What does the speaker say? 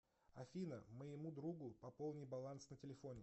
афина моему другу пополни баланс на телефоне